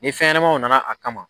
Ni fɛnɲɛnɛmaw nana a kama.